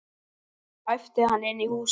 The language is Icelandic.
æpti hann inn í húsið.